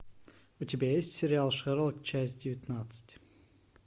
у тебя есть сериал шерлок часть девятнадцать